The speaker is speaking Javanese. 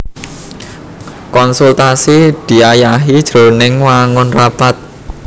Konsultasi diayahi jroning wangun rapat